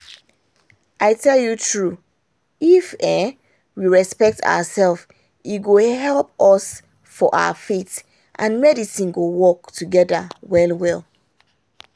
i tell you true if we respect ourselves e go help us for our faith and medicine go work together well well